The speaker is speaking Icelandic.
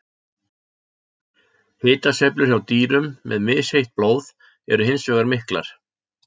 Hitasveiflur hjá dýrum með misheitt blóð eru hins vegar miklar.